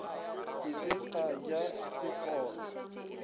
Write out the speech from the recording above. ke se ka ja dikgobe